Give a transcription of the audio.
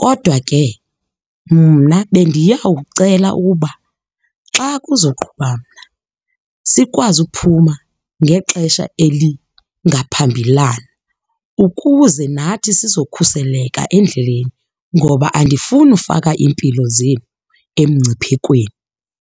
Kodwa ke mna bendiyawucela ukuba xa kuzoqhuba mna sikwazi uphuma ngexesha elingaphambilana ukuze nathi sizokhuseleka endleleni ngoba andifuni ufaka iimpilo zenu emngciphekweni.